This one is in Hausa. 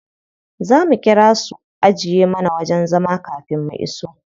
Za mu ƙira su ajiye mana wajen zama kafin mu iso.